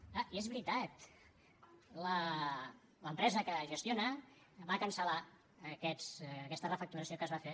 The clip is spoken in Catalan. és clar i és veritat l’empresa que gestiona va cancel·lar aquesta refacturació que es va fer